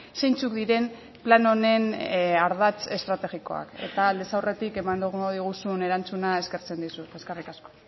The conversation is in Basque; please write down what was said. zeintzuk diren plan honen ardatz estrategikoak eta aldez aurretik emango diguzun erantzuna eskertzen dizut eskerrik asko